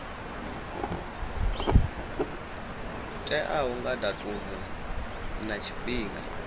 teaho nga datumu na tshifhinga